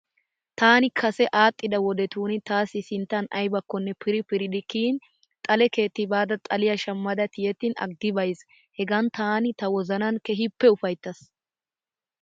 Taani kase aadhdhida wodetun taassi sinttan ayibakkonne piri piridi kiyin xale keetti baada xaliya shammada tiyettin aggi bayiis. Hegaan taani ta wozanan keehippe ufayittaas.